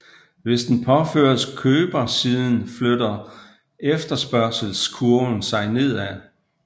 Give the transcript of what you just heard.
Hvis den påføres købersiden flytter efterspørgselskurven sig nedad